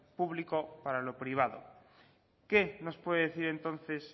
público para lo privado qué nos puede decir entonces